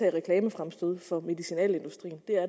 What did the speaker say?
i reklamefremstød for medicinalindustrien det er